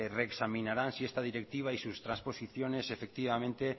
reexaminarán si esta directiva y sus transposiciones